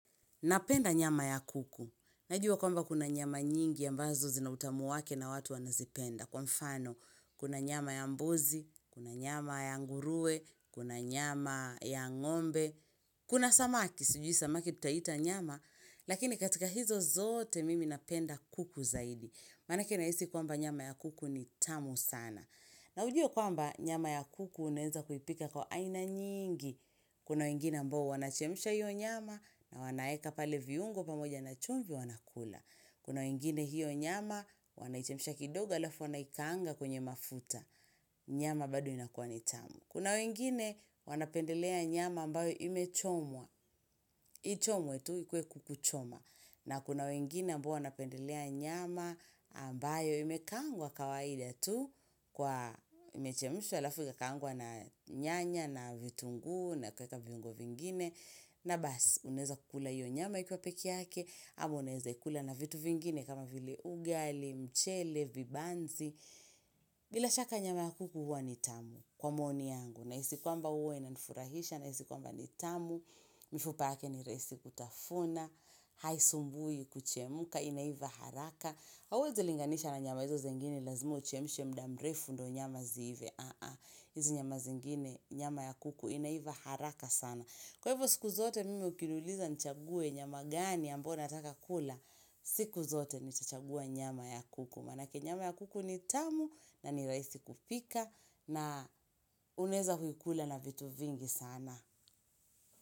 Napenda nyama ya kuku. Najua kwamba kuna nyama nyingi ya mbazo zina utamu wake na watu wanazipenda. Kwa mfano, kuna nyama ya mbuzi, kuna nyama ya ngurue, kuna nyama ya ngombe. Kuna samaki, sijui samaki tutaita nyama, lakini katika hizo zote mimi napenda kuku zaidi. Manake nahisi kwamba nyama ya kuku ni tamu sana. Na ujue kwamba nyama ya kuku uneza kuipika kwa aina nyingi. Kuna wengine ambao wanachemsha hiyo nyama na wanaeka pale viungo pamoja na chumvi wanakula. Kuna wengine hiyo nyama wanaichemsha kidoga alafu wanaikaanga kwenye mafuta. Nyama bado inakua ni tamu. Kuna wengine wanapendelea nyama ambayo imechomwa. Lichomwe tu ikue kuku choma. Na kuna wengine ambao wanapendelea nyama ambayo imekaangwa kawaida tu. Kwa imechemishwa alafu kakangwa na nyanya na vitunguu na kueka viungo vingine na bas unezakukula iyo nyama ikuwa peke yake ama uneza kukula na vitu vingine kama vile ugali, mchele, vibanzi bila shaka nyama ya kuku huwa ni tamu kwa maoni yangu nahisi kwamba huwa inanfurahisha nahisi kwamba ni tamu mifupa yake ni rahisi kutafuna haisumbui kuchemuka inaiva haraka hauwezi linganisha na nyama hizo zengini lazima uchemishe muda mrefu ndo nyama zive aaa, hizi nyama zingine nyama ya kuku inaiva haraka sana kwa hivyo siku zote mimi ukinuliza nchagwe nyama gani ambao nataka kula, siku zote nitachagua nyama ya kuku manake nyama ya kuku ni tamu na ni rahisi kupika na unezakuikula na vitu vingi sana.